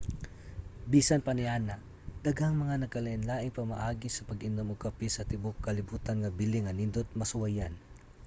bisan pa niana daghang mga nagkalain-laing pamaagi sa pag-inom og kape sa tibuok kalibutan nga bili nga nindot masuwayan